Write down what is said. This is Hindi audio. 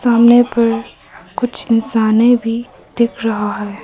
सामने पर कुछ इंसाने भी दिख रहा है।